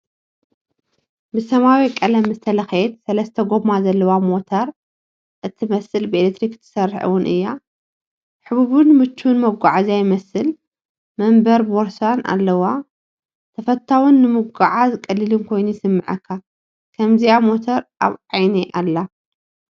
ብሰማያዊ ቀለም ዝተለኽየት ሰለስተ ጎማ ዘለዋ ሞተር እትመስል ብኤሌክትሪክ እትሰርሕ እውን እያ። ህቡብን ምቹውን መጓዓዝያ ይመስል፣ መንበርን ቦርሳን ኣለዎ። ተፈታዊን ንምጉዕዓዝ ቀሊልን ኮይኑ ይስምዓካ። ከምዚኣ ሞተር ኣብ ዓይነይ ኣላ፡፡